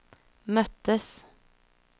möttes